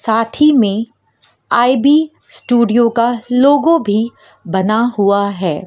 साथ ही में आई_बी स्टूडियो का लोगो भी बना हुआ है।